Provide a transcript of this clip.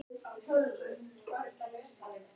Það er gomma af sætum píum hér á Skaganum.